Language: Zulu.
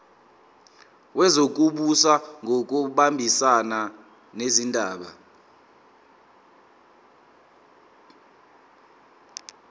wezokubusa ngokubambisana nezindaba